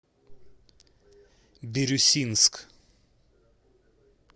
бирюсинск